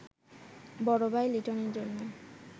বড় ভাই লিটনের জন্য